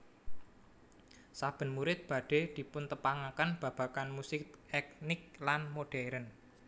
Saben murid badhe dipuntepangaken babagan musik etnik lan modern